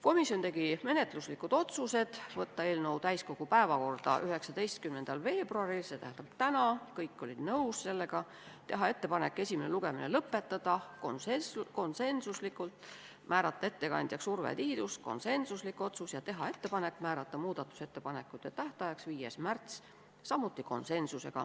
Komisjon tegi menetluslikud otsused: saata eelnõu täiskogu päevakorda 19. veebruariks, st tänaseks , teha ettepanek esimene lugemine lõpetada , määrata ettekandjaks Urve Tiidus ja teha ettepanek määrata muudatusettepanekute esitamise tähtajaks 5. märts .